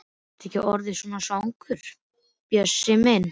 Ertu ekki orðinn svangur, Bjössi minn?